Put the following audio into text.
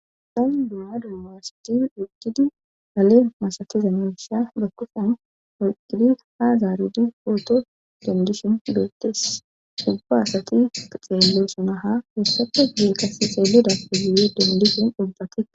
Tani duma dummaasati duqidi hale masatiza misha dakkufen olqidi ha zaarudi pooto dendishin dootes ubba asati xeello suna ha heessata gee qasi xeeludapaiye dendishin ubbati.